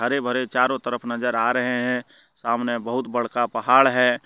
हरे भरे चारो तरफ नजर आ रहे है सामने बहुत बड़का पहाड़ है।